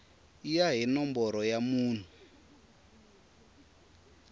ya hi nomboro ya munhu